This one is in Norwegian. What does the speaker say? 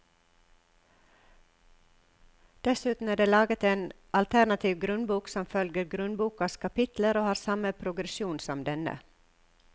Dessuten er det laget en alternativ grunnbok som følger grunnbokas kapitler og har samme progresjon som denne.